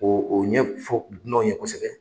O o ɲɛ fo dunanw ye kosɛbɛ.